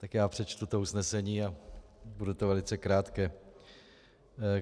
Tak já přečtu to usnesení a bude to velice krátké.